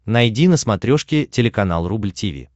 найди на смотрешке телеканал рубль ти ви